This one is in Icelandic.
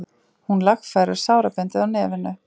Hún lagfærir sárabindið á nefinu.